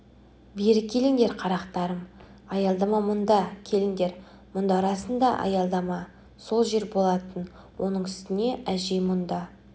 бері келіңдер қарақтарым аялдама мұнда келіңдер мұнда расында аялдама сол жер болатын оның үстіне әжей мұнда